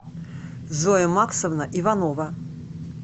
зоя максовна иванова